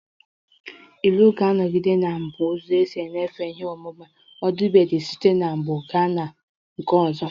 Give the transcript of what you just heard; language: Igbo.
Ilu ga-anọgide na-abụ ụzọ isi nyefee ihe ọmụma ọdịbendị site n'ọgbọ gaa na nke ọzọ